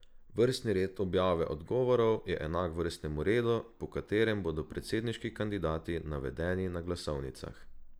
Vrstni red objave odgovorov je enak vrstnemu redu, po katerem bodo predsedniški kandidati navedeni na glasovnicah.